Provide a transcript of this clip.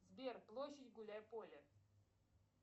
сбер площадь гуляй поле